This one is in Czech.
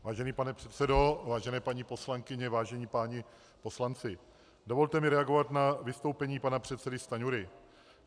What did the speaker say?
Vážený pane předsedo, vážené paní poslankyně, vážení páni poslanci, dovolte mi reagovat na vystoupení pana předsedy Stanjury.